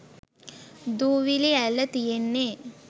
දූවිලිඈල්ල තියෙන්නෙ?